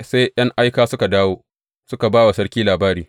Sai ’yan aika suka dawo suka ba wa sarki labari.